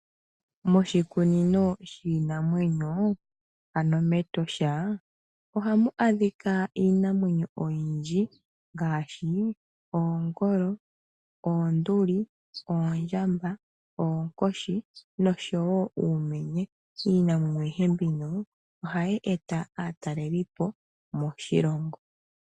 Moshikunino shiinamwenyo ano mEtosha, ohamu adhika iinamwenyo oyindji ngaashi oongolo, oonduli, oondjamba , oonkoshi nosho wo uumenye. Iinamwenyo ayihe mbino ohayi e ta aatalelipo moshilongo.